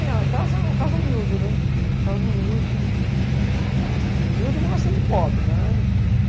Era uma casa, casa humilde, humilde mesmo assim de pobre.